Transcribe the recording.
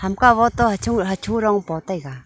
ka wo to hacho rong po taiga.